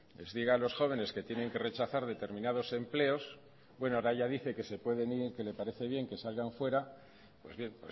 les diga a los jóvenes que tienen que rechazar determinados empleos ahora ya dice que se pueden ir que le parece bien que salgan afuera pues bien